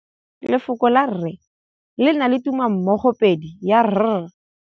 Lefoko la rre le na le tumammogôpedi ya, r.